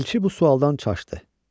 Elçi bu sualdan çaşdı.